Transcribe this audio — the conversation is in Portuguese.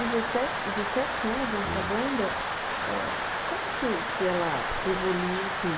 Dezessete, dezessete anos nessa banda, é como que que ela evolui assim?